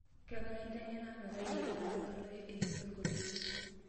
kang'ae inteng'ena metayiolo atadalayu isingolioni